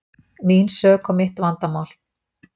Mín sök og mitt vandamál.